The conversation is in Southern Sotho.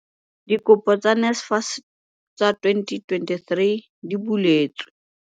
Dikopo tsa NSFAS tsa 2023 di buletswe